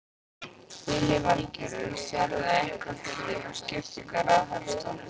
Lillý Valgerður: Sérðu eitthvað fyrir þér með skiptingu á ráðherrastólum?